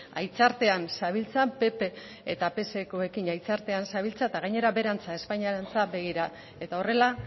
haitzartean zabiltza pp eta psekoekin haitzartean zabiltza eta gainera beherantz espainiarantz begira eta horrela